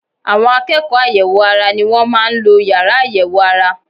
Àwọn akẹ́kọ̀ọ́ àyẹ̀wò ara ni wọ́n máa ń lo yàrá àyẹ̀wò ara